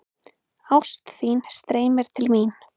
Ást þín streymir til mín.